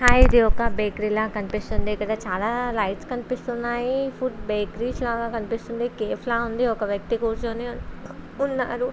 Hi ఇది ఒక bakery లాగా కనిపిస్తుంది ఇక్కడ చాల లైట్స్ కనిపిస్తున్నాయి ఫుడ్ బేకారి లాగా కనిపిస్తుంది ఒక వ్యక్తి కూర్చొని ఉన్నారు .